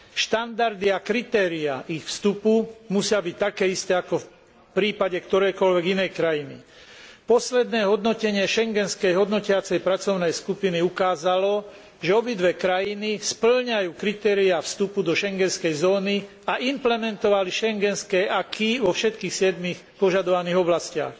Štandardy a kritéria ich vstupu musia byť také isté, ako v prípade ktorejkoľvek inej krajiny. Posledné hodnotenie schengenskej hodnotiacej pracovnej skupiny ukázalo, že obidve krajiny spĺňajú kritériá vstupu do schengenskej zóny a implementovali schengenské acquis vo všetkých siedmich požadovaných oblastiach.